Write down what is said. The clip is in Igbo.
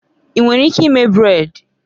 Ị nwere ike ime brèd?